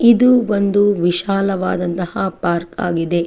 ಇದು ಒಂದು ವಿಶಾಲವಾದಂತಹ ಪಾರ್ಕ್ ಆಗಿದೆ.